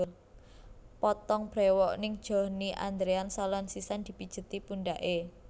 Potong brewok ning Johnny Andrean Salon sisan dipijeti pundhake